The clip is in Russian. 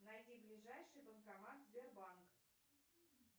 найди ближайший банкомат сбербанк